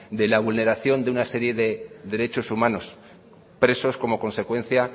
de la vulneración de una serie de derechos humanos presos como consecuencia